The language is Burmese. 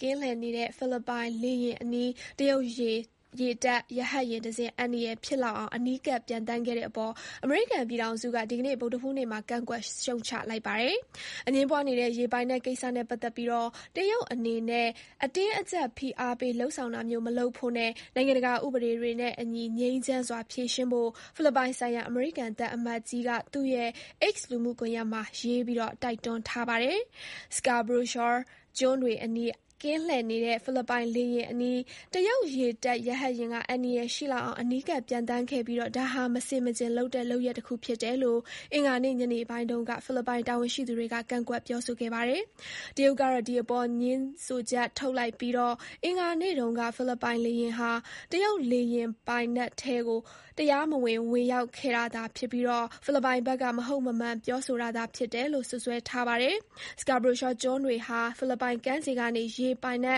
ကင်းလှည့်နေတဲ့ဖိလစ်ပိုင် လေယာဉ်အနီး တရုတ်ရေတပ်ရဟတ်ယာဉ်တစင်း အန္တရယ်ဖြစ်လောက်အောင် အနီးကပ် ပျံသန်းခဲ့တဲ့အပေါ် အမေရိကန်ပြည်ထောင်စုက ဒီကနေ့ ဗုဒ္ဓဟူးနေ့မှာ ကန့်ကွက်ရှုတ်ချလိုက်ပါတယ်။ အငြင်းပွားနေတဲ့ ရေပိုင်နက်ကိစ္စနဲ့ပတ်သက်ပြီး တရုတ်နေနဲ့ အတင်းအကြပ် ဖိအားပေးတာမျိုး မလုပ်ဖို့နဲ့ နိုင်ငံတကာဥပဒေတွေနဲ့အညီ ငြိမ်းချမ်းစွာဖြေရှင်းဖို့ ဖိလစ်ပိုင်ဆိုင်ရာ အမေရိကန်သံ အမတ်ကြီး MaryKay Carlson က သူ့ရဲ့ X လူမှုကွန်ယက်မှာရေးတိုက်တွန်းထားပါတယ်။ Scarborough shoal ကျွန်းတွေအနီး ကင်းလှည့်နေတဲ့ဖိလစ်ပိုင်လေယာဉ်အနီး တရုတ်ရေတပ် ရဟတ်ယာဉ်က အန္တရာယ်ရှိလောက်အောင် အနီးကပ်ပျံသန်းခဲ့ပြီး ဒါဟာ မဆင်မခြင်လုပ်တဲ့ လုပ်ရပ် တခုဖြစ်တယ်လို့ အင်္ဂါနေ့ညနေပိုင်းတုန်းက ဖိလစ်ပိုင်တာဝန်ရှိသူတွေက ကန့်ကွက်ပြောဆိုခဲ့ပါတယ်။ တရုတ်ကတော့ ဒီအပေါ်ငြင်းချက်ထုတ်လိုက်ပြီး အင်္ဂါနေ့တုန်းက ဖိလစ်ပိုင်လေယဉ်ဟာ တရုတ် လေပိုင်နက်ထဲ တရားမဝင်,ဝင်ရောက်ခဲ့တာသာဖြစ်ပြီး ဖိလစ်ပိုင်ဘက်က မဟုတ်မမှန် ပြောဆိုတာသာ ဖြစ်တယ်လို့စွပ်စွဲထားပါတယ်။Scarborough shoal ကျွန်းတွေဟာ ဖိလစ်ပိုင်ကမ်းခြေကနေ ရေပိုင် ၁